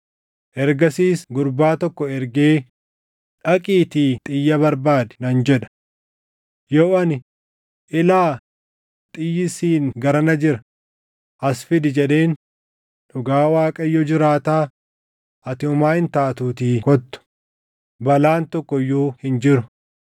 Ergasiis gurbaa tokko ergee, ‘Dhaqiitii xiyya barbaadi’ nan jedha. Yoo ani, ‘Ilaa, xiyyi siin garana jira; as fidi’ jedheen, dhugaa Waaqayyo jiraataa, ati homaa hin taatuutii kottu; balaan tokko iyyuu hin jiru.